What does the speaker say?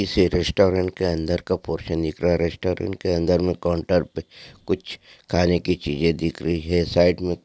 किसी रेस्टोरंन्ट के अंदर का पोरशन दिख रहा रेस्टोरंन्ट के अंदर में काउंटर पे कूछ खाने की चीजे दिख रही है साईड में--